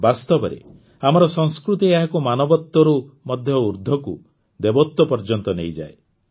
ବାସ୍ତବରେ ଆମର ସଂସ୍କୃତି ଏହାକୁ ମାନବତ୍ୱରୁ ମଧ୍ୟ ଊର୍ଦ୍ଧ୍ୱକୁ ଦେବତ୍ୱ ପର୍ଯ୍ୟନ୍ତ ନେଇଯାଏ